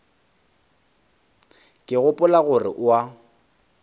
ke gopola gore o a